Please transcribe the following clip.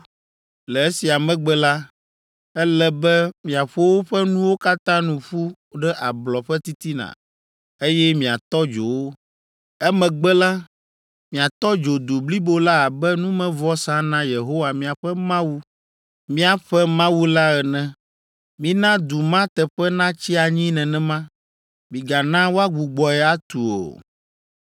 Le esia megbe la, ele be miaƒo woƒe nuwo katã nu ƒu ɖe ablɔ ƒe titina, eye miatɔ dzo wo. Emegbe la, miatɔ dzo du blibo la abe numevɔsa na Yehowa miaƒe Mawu, mìaƒe Mawu la ene. Mina du ma teƒe natsi anyi nenema: migana woagbugbɔe atu o.